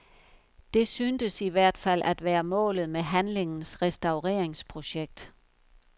Det synes i hvert fald at være målet med handlingens restaureringsprojekt.